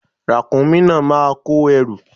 Ràkúnmí náà máa kó ẹrù.